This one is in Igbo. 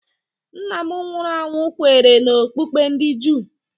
Nna m nwụrụ anwụ kweere n'okpukpe ndị Juu.